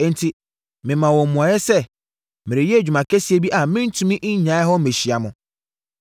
enti memaa wɔn mmuaeɛ sɛ, “Mereyɛ adwuma kɛseɛ bi a merentumi nnyae mmɛhyia mo.”